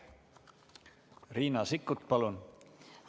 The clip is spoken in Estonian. Riina Sikkut, palun!